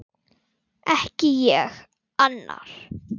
Ekki ég: annar.